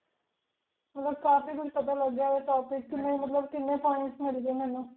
ਮਤਲਬ ਕਾਫੀ ਕੁਛ ਪਤਾ ਲਾਗ੍ਯ ਆਯ ਟੋਪਿਕ ਟੀ ਮਤਲਬ ਕੀਨੀ points ਮਿਲ ਗਾਯ